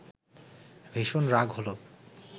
ভীষণ রাগ হলো